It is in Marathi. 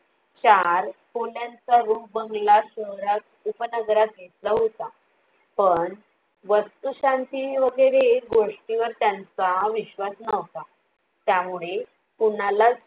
चार खोल्यांचा रूप बंगला शहरात उपनगरात घेतला होता, पण वस्तुशांती वगैरे गोष्टी वर त्यांचा विश्वास नव्हता. त्यामुळे कुणालाच